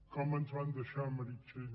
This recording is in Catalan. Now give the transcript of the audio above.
com ens van deixar meritxell